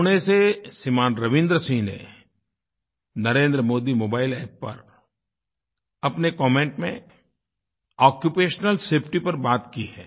पुणे से श्रीमान रवीन्द्र सिंह ने नरेंद्रमोदी मोबाइल App पर अपने कमेंट में आक्यूपेशनल सेफटी पर बात की है